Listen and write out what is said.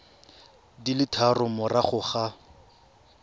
di le tharo morago ga